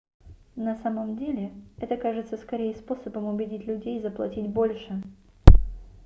на самом деле это кажется скорее способом убедить людей заплатить больше